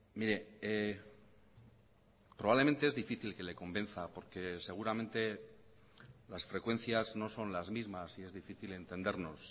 mire probablemente es difícil que le convenza porque seguramente las frecuencias no son las mismas y es difícil entendernos